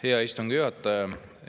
Hea istungi juhataja!